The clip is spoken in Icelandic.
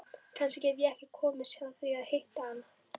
Kannski get ég komist hjá því að hitta hann.